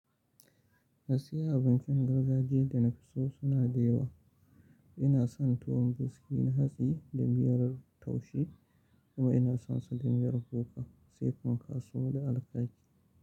Gaskiya abincin gargajiyan da na fi so suna da yawa. Ina son tuwon buski na hatsi da miyar taushe kuma ina son sa da miyar kuka, sai pankasau da alkaki.